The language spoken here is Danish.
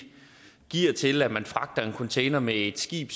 giver til at man fragter en container med et skib